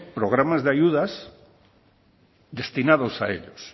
programas de ayudas destinados a ellos